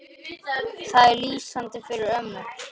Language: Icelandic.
Það er lýsandi fyrir ömmu.